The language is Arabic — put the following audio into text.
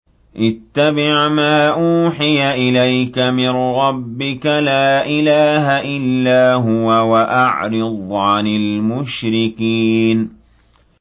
اتَّبِعْ مَا أُوحِيَ إِلَيْكَ مِن رَّبِّكَ ۖ لَا إِلَٰهَ إِلَّا هُوَ ۖ وَأَعْرِضْ عَنِ الْمُشْرِكِينَ